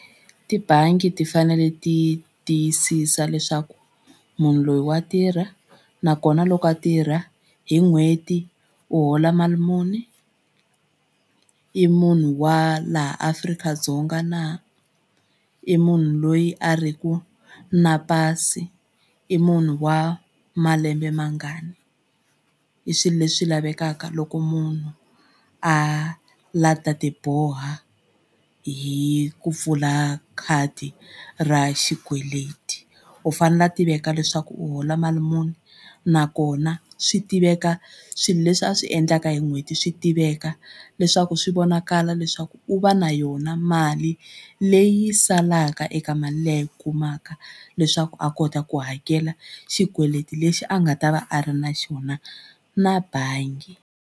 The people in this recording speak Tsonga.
Tibangi ti fanele ti tiyisisa leswaku munhu loyi wa tirha nakona loko a tirha hi n'hweti u hola mali muni i munhu wa laha Afrika-Dzonga na i munhu loyi a ri ku na pasi i munhu wa malembe mangani. I swilo leswi lavekaka loko munhu a la ta ti boha hi ku pfula khadi ra xikweleti. U fanele a tiveka leswaku u hola mali muni nakona swi tiveka swilo leswi a swi endlaka hi n'hweti swi tiveka leswaku swi vonakala leswaku u va na yona mali leyi salaka eka mali leyi u kumaka leswaku a kota ku hakela xikweleti lexi a nga ta va a ri na xona na bangi.